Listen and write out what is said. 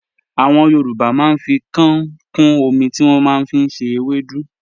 Àwọn Yorùbá màá n fi kàán kún ọmí tí wọ́n màá n fi ṣẹ̀ èwèdú.